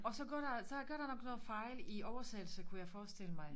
Og så går der så kan der opstå fejl i oversættelse kunne jeg forestille mig